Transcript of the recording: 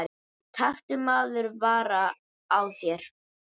taktu maður vara á þér